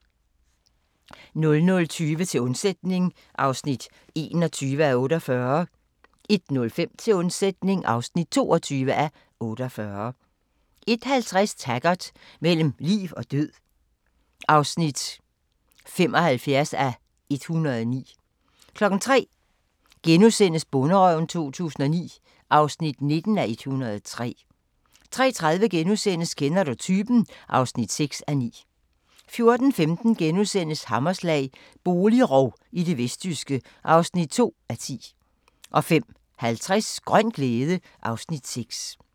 00:20: Til undsætning (21:48) 01:05: Til undsætning (22:48) 01:50: Taggart: Mellem liv og død (75:109) 03:00: Bonderøven 2009 (19:103)* 03:30: Kender du typen? (6:9)* 04:15: Hammerslag – boligrov i det vestjyske (2:10)* 05:50: Grøn glæde (Afs. 6)